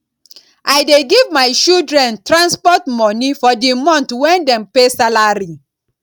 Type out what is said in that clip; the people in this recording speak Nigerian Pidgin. i dey give my children transport moni for di month wen dem pay salary